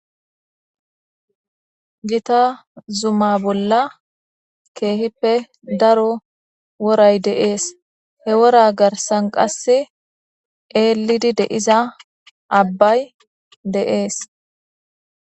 gita zuma bolla keehippe daro woray deees he wora garsan qass eelidi deiza abbay de'ese